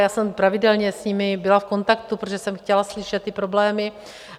Já jsem pravidelně s nimi byla v kontaktu, protože jsem chtěla slyšet ty problémy.